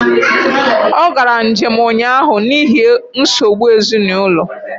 Ọ gara njém ụnyaahụ n’ihi nsogbu ezinụ